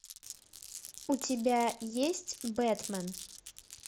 у тебя есть бэтмен